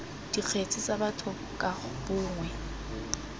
dikgetse tsa batho ka bongwe